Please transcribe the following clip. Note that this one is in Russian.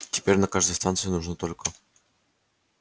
теперь на каждой станции нужны только